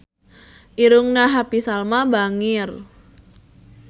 Irungna Happy Salma bangir